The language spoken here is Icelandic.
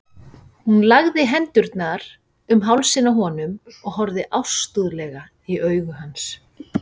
Hún lagði hendurnar um hálsinn á honum og horfði ástúðlega í augu hans.